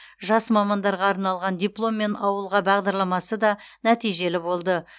жас мамандарға арналған дипломмен ауылға бағдарламасы да нәтижелі болды